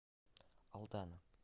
алдана